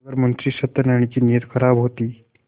अगर मुंशी सत्यनाराण की नीयत खराब होती